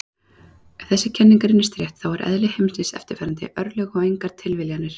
Ef þessi kenning reynist rétt þá er eðli heimsins eftirfarandi: örlög og engar tilviljanir.